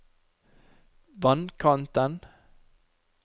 vannkanten